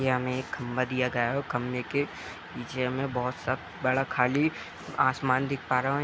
की हमें एक खम्भा दिया गया है और खम्भे के पीछे हमें बहुत सा बड़ा खाली आसमान दिख पा रहे --